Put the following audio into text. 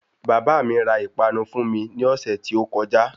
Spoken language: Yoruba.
Bàbá mi ra ìpanu fún mi ní ọ̀sẹ́ tí ó kọjá.